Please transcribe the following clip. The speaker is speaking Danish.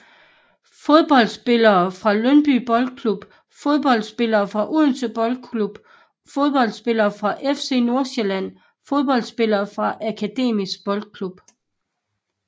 Fodboldspillere fra Lyngby Boldklub Fodboldspillere fra Odense Boldklub Fodboldspillere fra FC Nordsjælland Fodboldspillere fra Akademisk Boldklub